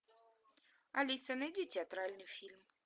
алиса найди театральный фильм